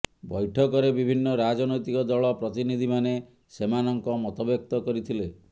ବୈଠକରେ ବିଭିନ୍ନ ରାଜନୈତିକ ଦଳ ପ୍ରତିନିଧିମାନେ ସେମାନଙ୍କ ମତବ୍ୟକ୍ତ କରିଥିଲେ